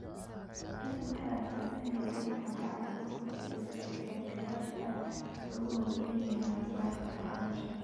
Tani waxay adkeynaysaa in habraac guud loo dejiyo sida ka qaybgalayaashu ay ugu hawlan yihiin cilmi-baadhista waxbarashada.